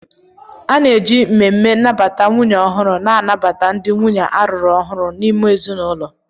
A na-eji mmemme nnabata nwunye ọhụrụ na-anabata ndị nwunye a rụrụ ọhụrụ n'ime ezinụlọ